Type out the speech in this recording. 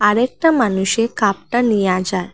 আর একটা মানুষে কাপটা নিয়া যার ।